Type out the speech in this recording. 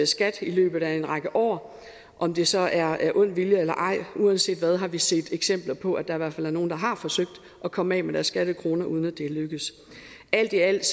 skat i løbet af en række år om det så er af ond vilje eller ej uanset hvad har vi set eksempler på at der i hvert fald er nogle der har forsøgt at komme af med deres skattekroner uden at det er lykkedes alt i alt